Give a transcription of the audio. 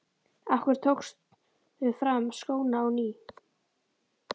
Af hverju tókstu fram skóna á ný?